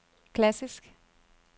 klassisk